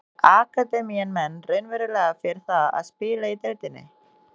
Býr akademían menn raunverulega fyrir það að spila í deildinni?